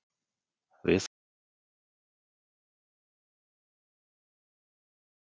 Við þessar aðstæður var bæjarstjórinn sjálfsagður bandamaður hans.